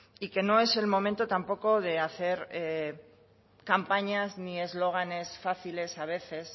y que no es el momento tampoco de hacer campañas ni eslóganes fáciles a veces